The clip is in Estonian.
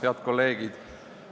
Head kolleegid!